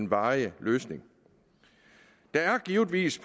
varig løsning der er givetvis